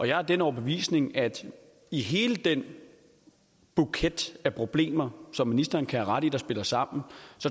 jeg er af den overbevisning at i hele den buket af problemer som ministeren kan have ret i spiller sammen